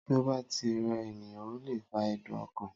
Tí o bá tí ń re ènìyàn ọ le fa ẹ̀dùn ọkàn